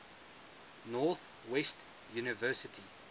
north west university